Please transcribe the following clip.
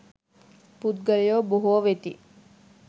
පුද්ගලයෝ බොහෝ වෙති.